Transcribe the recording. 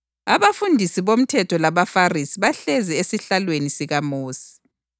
“Abafundisi bomthetho labaFarisi bahlezi esihlalweni sikaMosi.